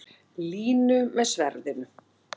Línu með sverðinu.